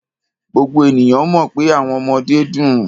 Gbogbo ènìyàn mọ̀ pé àwọn ọmọdé dùn.